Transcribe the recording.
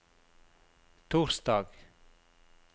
torsdag